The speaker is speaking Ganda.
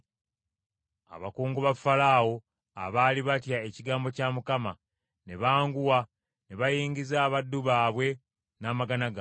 Abakungu ba Falaawo abaali batya ekigambo kya Mukama , ne banguwa ne bayingiza abaddu baabwe n’amagana gaabwe.